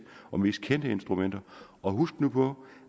og mest kendte instrumenter husk nu på